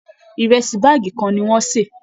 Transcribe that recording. Ìrẹsì báàgì kan ni wọ́n sè